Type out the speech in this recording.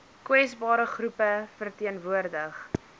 kwesbare groepe verteenwoordig